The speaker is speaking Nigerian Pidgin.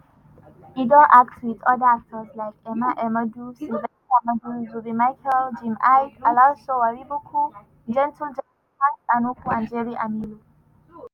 and e don act wit oda actors like emma ehumadu sylvester madu zubby michael jim iyke alaso wariboko gentle jack hanks anuku and jerry amilo.